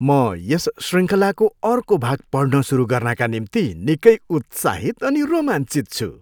म यस शृङ्खलाको अर्को भाग पढ्न सुरु गर्नाका निम्ति निकै उत्साहित अनि रोमाञ्चित छु!